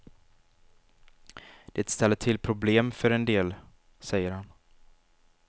Det ställer till problem för en del, säger han.